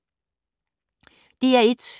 DR1